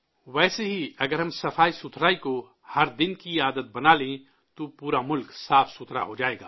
ویسے ہی، اگر ہم صفائی کو، ہر دن کی عادت بنا لیں، تو پورا ملک صاف ہو جائے گا